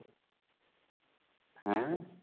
ହାଁ?